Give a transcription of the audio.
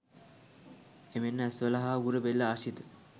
එමෙන්ම ඇස්වල හා උගුර, බෙල්ල ආශ්‍රිත